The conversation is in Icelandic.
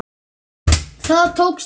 Það tókst vel.